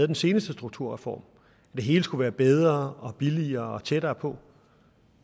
den seneste strukturreform det hele skulle være bedre og billigere og tættere på